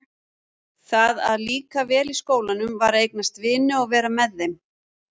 Það að líka vel í skólanum var að eignast vini og vera með þeim.